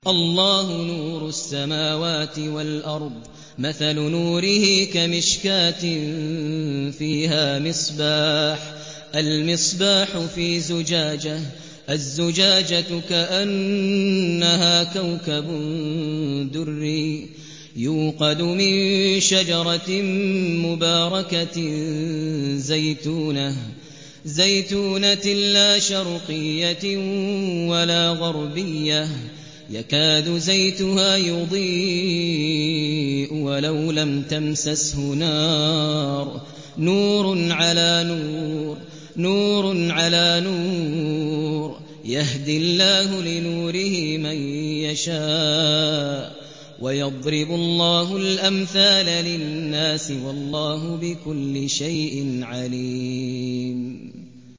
۞ اللَّهُ نُورُ السَّمَاوَاتِ وَالْأَرْضِ ۚ مَثَلُ نُورِهِ كَمِشْكَاةٍ فِيهَا مِصْبَاحٌ ۖ الْمِصْبَاحُ فِي زُجَاجَةٍ ۖ الزُّجَاجَةُ كَأَنَّهَا كَوْكَبٌ دُرِّيٌّ يُوقَدُ مِن شَجَرَةٍ مُّبَارَكَةٍ زَيْتُونَةٍ لَّا شَرْقِيَّةٍ وَلَا غَرْبِيَّةٍ يَكَادُ زَيْتُهَا يُضِيءُ وَلَوْ لَمْ تَمْسَسْهُ نَارٌ ۚ نُّورٌ عَلَىٰ نُورٍ ۗ يَهْدِي اللَّهُ لِنُورِهِ مَن يَشَاءُ ۚ وَيَضْرِبُ اللَّهُ الْأَمْثَالَ لِلنَّاسِ ۗ وَاللَّهُ بِكُلِّ شَيْءٍ عَلِيمٌ